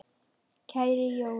Kæri Jói minn!